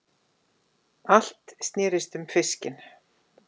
Allt snerist um fiskinn.